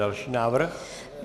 Další návrh.